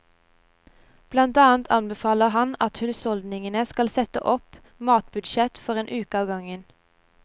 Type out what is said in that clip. Blant annet anbefaler han at husholdningene setter opp matbudsjettet for en uke av gangen.